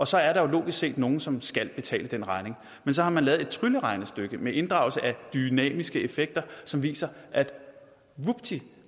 så er der jo logisk set nogle som skal betale den regning men så har man lavet et trylleregnestykke med inddragelse af dynamiske effekter som viser at vupti